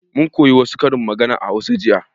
Mun koya wa su karin magana a hausa jiya